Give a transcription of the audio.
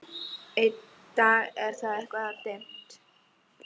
Í dag er það eitthvað dimmt.